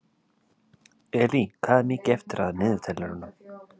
Elí, hvað er mikið eftir af niðurteljaranum?